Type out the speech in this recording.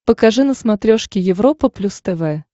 покажи на смотрешке европа плюс тв